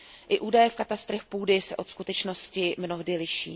I údaje v katastrech půdy se od skutečnosti mnohdy liší.